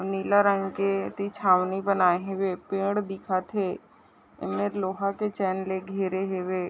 नीला रंग के तिछावनि बनाए हॆवे पेड़ दिखत हे ये में लोहा के चैन ले घेरे हॆवे ।